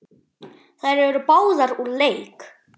Þær eru báðar úr leik.